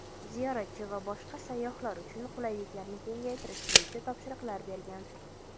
ziyoratchi va boshqa sayyohlar uchun qulayliklarni kengaytirish bo‘yicha topshiriqlar bergan.